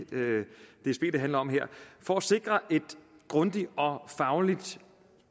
dsb det handler om her for at sikre et grundigt og fagligt